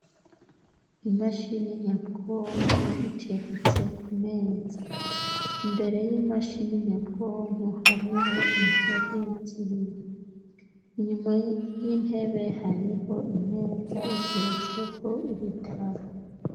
Imashini nyabwonko iteretse ku meza. Imbere y'imashini nyabwonko, hariho intebe z'ibiri, inyuma y'intebe, hariho imeza iteretseko ibitabo.